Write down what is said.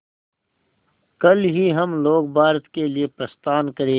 कल ही हम लोग भारत के लिए प्रस्थान करें